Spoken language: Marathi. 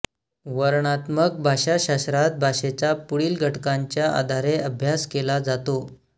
वर्णनात्मक भाषाशास्त्रात भाषेचा पुढील घटकांच्या आधारे अभ्यास केला जातो